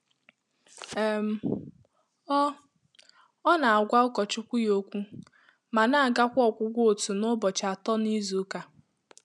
um Ọ́ Ọ́ nà-àgwá ụkọchukwu yá ókwú mà nà-àgàkwà ọ́gwụ́gwọ́ òtù nà ụbọchị Atọ na Izuụka.